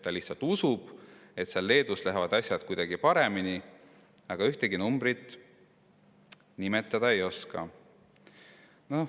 Ta lihtsalt usub, et Leedus lähevad asjad kuidagi paremini, aga ühtegi numbrit ta nimetada ei oska.